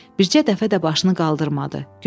Bircə dəfə də başını qaldırmadı.